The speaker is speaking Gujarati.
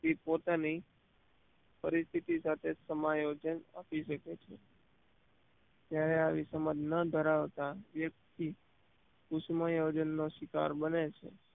વ્યક્તિ પોતાની પરિસ્થિતિ સાથે સમાયોજન કરી શકે છે ત્યારે આવી સમજ ન ધરાવનાર વ્યક્તિ કુસુમાયોજનનો શિકાર બને છે